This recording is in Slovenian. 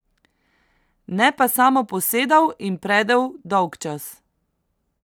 Ne pa samo posedal in predel dolgčas.